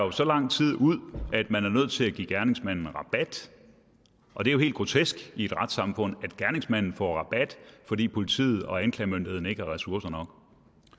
i så lang tid at man er nødt til at give gerningsmanden rabat og det er jo helt grotesk i et retssamfund at gerningsmanden får rabat fordi politiet og anklagemyndigheden ikke har ressourcer